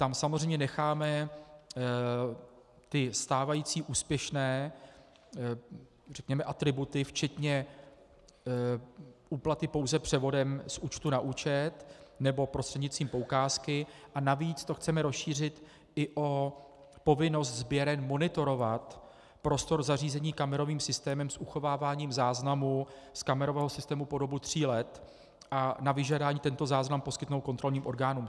Tam samozřejmě necháme ty stávající úspěšné, řekněme, atributy, včetně úplaty pouze převodem z účtu na účet nebo prostřednictvím poukázky, a navíc to chceme rozšířit i o povinnost sběren monitorovat prostor zařízení kamerovým systémem s uchováváním záznamu z kamerového systému po dobu tří let a na vyžádání tento záznam poskytnout kontrolním orgánům.